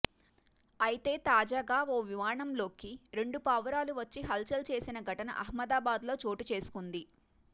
అయితే తాజాగా ఓ విమానంలోకి రెండు పావురాలు వచ్చి హల్చల్ చేసిన ఘటన అహ్మదాబాద్లో చోటుచేసుకుంది